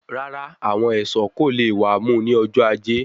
Rárá àwọn ẹṣọ kò lè wà mú ní ọjọ ajé